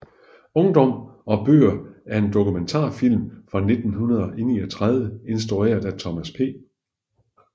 Ungdom og bøger er en dokumentarfilm fra 1939 instrueret af Thomas P